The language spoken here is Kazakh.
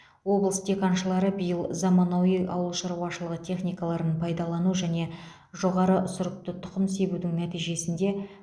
облыс диқаншылары биыл заманауи ауылшаруашылығы техникаларын пайдалану және жоғары сұрыпты тұқым себудің нәтижесінде